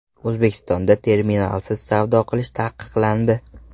O‘zbekistonda terminalsiz savdo qilish taqiqlandi .